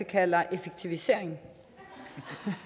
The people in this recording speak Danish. kalder effektivisering